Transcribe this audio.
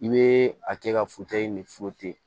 I bɛ a kɛ ka ni